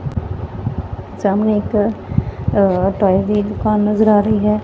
ਸਾਹਮਣੇ ਇੱਕ ਅ ਟੋਇਸ ਦੀ ਇੱਕ ਦੁਕਾਨ ਨਜ਼ਰ ਆ ਰਹੀ ਹੈ।